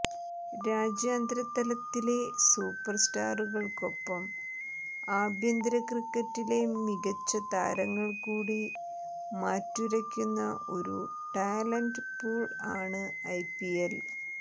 രാജ്യാന്തര തലത്തിലെ സൂപ്പർ സ്റ്റാറുകൾക്കൊപ്പം ആഭ്യന്തര ക്രിക്കറ്റിലെ മികച്ച താരങ്ങൾ കൂടി മാറ്റുരക്കുന്ന ഒരു ടാലൻ്റ് പൂൾ ആണ് ഐപിഎൽ